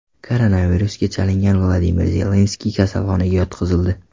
Koronavirusga chalingan Vladimir Zelenskiy kasalxonaga yotqizildi.